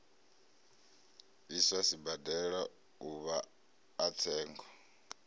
iswa sibadela uvha a tsengo